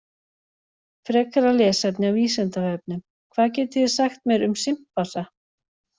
Frekara lesefni á Vísindavefnum: Hvað getið þið sagt mér um simpansa?